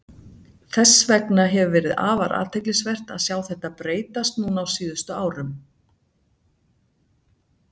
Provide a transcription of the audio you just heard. Þess vegna hefur verið afar athyglisvert að sjá þetta breytast núna á síðustu árum.